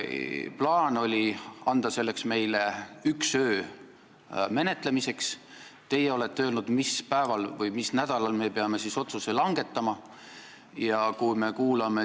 Plaan oli anda selle menetlemiseks meile üks öö, teie olete öelnud, mis päeval või mis nädalal meie peame siis otsuse langetama.